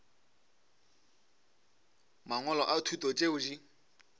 mangwalo a thuto tšeo di